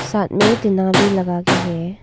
साथ में टिना भी लगा के है।